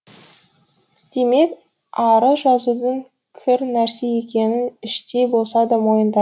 демек арыз жазудың кір нәрсе екенін іштей болса да мойындайды